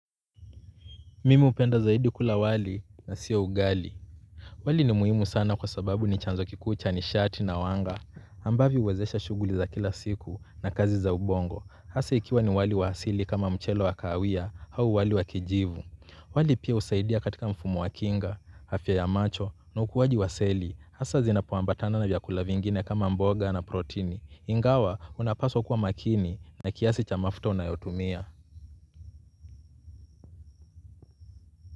Mimi hupenda zaidi kula wali na sio ugali. Wali ni muhimu sana kwa sababu ni chanzo kikuu cha ni shati na wanga ambavyo huwezesha shughuli za kila siku na kazi za ubongo. Hasa ikiwa ni wali wa asili kama mchele wa kawia au wali wa kijivu. Wali pia husaidia katika mfumo wa kinga, afya ya macho na ukuwaji wa seli. Hasa zinapoambatana na vyakula vingine kama mboga na protini. Ingawa unapaswa kuwa makini na kiasi cha mafuta unayotumia.